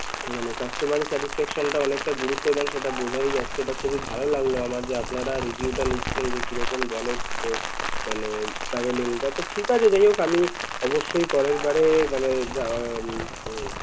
মানে customer satisfaction টা অনেকটা গুরুত্ব দেন সেটা বোঝাই যাচ্ছে এটা খুবই ভাল লাগলো আমার যে আপনারা review টা নিচ্ছেন যে কীরকম গেলোমানে traveling টা তো ঠিকাছে যাহোক আমি অবশ্যই পরেরবারও মানে যাওয়া উম